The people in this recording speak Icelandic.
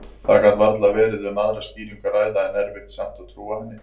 Það gat varla verið um aðra skýringu að ræða, en erfitt samt að trúa henni.